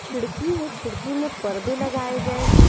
खिड़की है खिड़की में पर्दे लगाए गए हैं।